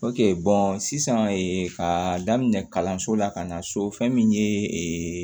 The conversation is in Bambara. sisan ka daminɛ kalanso la ka na so fɛn min ye